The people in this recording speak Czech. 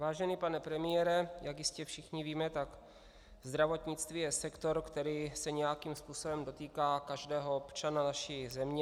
Vážený pane premiére, jak jistě všichni víme, tak zdravotnictví je sektor, který se nějakým způsobem dotýká každého občana naší země.